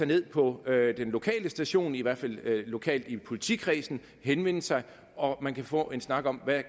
ned på den lokale station i hvert fald lokalt i politikredsene og henvende sig og få en snak om hvad